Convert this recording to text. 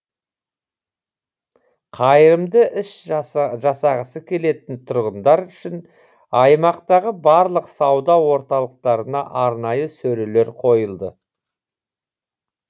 қайырымды іс жасағысы келетін тұрғындар үшін аймақтағы барлық сауда орталықтарына арнайы сөрелер қойылды